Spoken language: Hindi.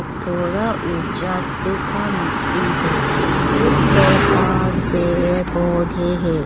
थोड़ा ऊंचा सुखा मिट्टी है उस पर घास पेड़ पौधे है।